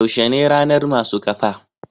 yaushe ne ranar masu kafa?